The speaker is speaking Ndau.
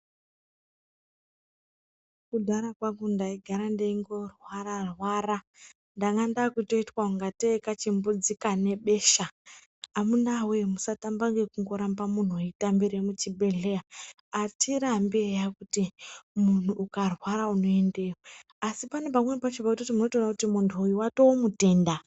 Kudhara kwangu ndaigara ndeingo rwara-ra ndanga ndakutoitwe kunga tei kachimbudzi kane besha, amunawe musatamba ngekungorambe munhu weitambire muchibhehlera, atirambe eya kuti munhu ukarwara unoendeyo asi panepameni pachona pamunotoona kuti munhu uyu watomutenda.